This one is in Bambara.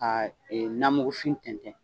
Ka ee namukufin tɛntɛn